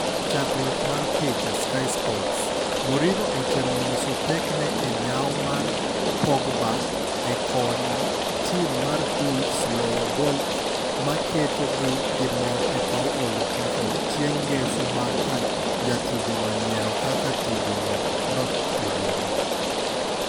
Chakruok mar picha, Sky sports. Mourinho otemo nyiso pekne e nyawo mar Pogba e konyo tim mar Wolves loyo gol maketogi girom epaw Old Trafford chieng' ngeso bang' ka jatugono nyiero kak tugo no notugore.